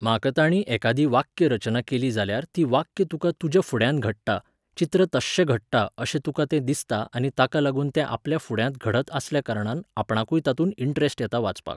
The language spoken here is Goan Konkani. म्हाका ताणी एकादी वाक्य रचना केली जाल्यार ती वाक्य तुका तुज्या फुड्यांत घडटा, चित्र तश्शें घडटा अशें तुका तें दिसता आनी ताका लागून तें आपल्या फुड्यांत घडत आसल्या कारणान आपणाकूय तातूंत इंट्रस्ट येता वाचपाक.